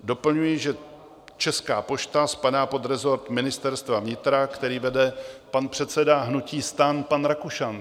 Doplňuji, že Česká pošta spadá pod resort Ministerstva vnitra, které vede pan předseda hnutí STAN Vít Rakušan.